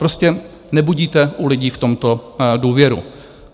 Prostě nebudíte u lidí v tomto důvěru.